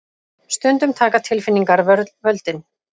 Stundum taka tilfinningarnar völdin.